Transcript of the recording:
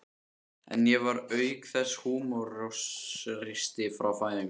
En ég var auk þess húmoristi frá fæðingu.